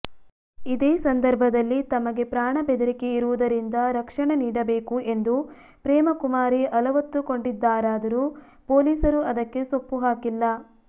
ಇದೇ ಸಂದರ್ಭದಲ್ಲಿ ತಮಗೆ ಪ್ರಾಣ ಬೆದರಿಕೆಯಿರುವುದರಿಂದ ರಕ್ಷಣೆ ನೀಡಬೇಕು ಎಂದೂ ಪ್ರೇಮಕುಮಾರಿ ಅಲವತ್ತುಕೊಂಡಿದ್ದಾರಾದರೂ ಪೊಲೀಸರು ಅದಕ್ಕೆ ಸೊಪ್ಪು ಹಾಕಿಲ್ಲ